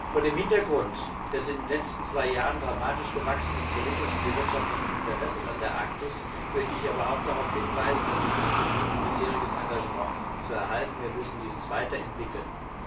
Vor dem Hintergrund des in den letzten zwei Jahren dramatisch gewachsenen politischen wie wirtschaftlichen Interesses an der Arktis möchte ich aber auch darauf hinweisen, dass es nicht genügt, bisheriges Engagement zu erhalten, wir müssen dieses weiterentwickeln.